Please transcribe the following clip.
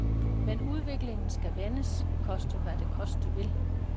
Men udviklingen skal vendes, koste hvad det koste vil.